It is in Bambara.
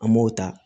An m'o ta